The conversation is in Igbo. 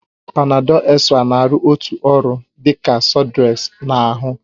Panadol extra na-arụ otu ọrụ dị ka sudrex na ahụ